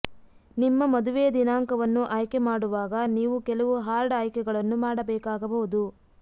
ನಿಮ್ಮ ಮದುವೆಯ ದಿನಾಂಕವನ್ನು ಆಯ್ಕೆಮಾಡುವಾಗ ನೀವು ಕೆಲವು ಹಾರ್ಡ್ ಆಯ್ಕೆಗಳನ್ನು ಮಾಡಬೇಕಾಗಬಹುದು